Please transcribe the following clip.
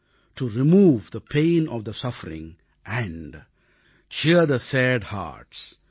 to remove the pain of the suffering and cheer the sad hertz